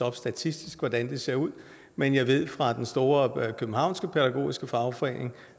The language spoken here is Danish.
op statistisk hvordan det ser ud men jeg ved fra den store københavnske pædagogiske fagforening